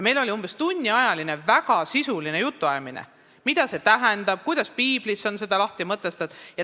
Meil oli umbes tunniajaline väga sisuline jutuajamine, mida see tähendab ja kuidas on piiblis seda lahti mõtestatud.